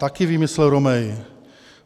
Taky výmysl Romea.